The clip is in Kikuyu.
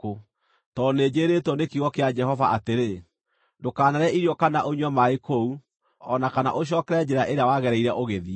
Tondũ nĩnjĩĩrĩtwo nĩ kiugo kĩa Jehova atĩrĩ, ‘Ndũkanarĩe irio kana ũnyue maaĩ kũu o na kana ũcookere njĩra ĩrĩa wagereire ũgĩthiĩ.’ ”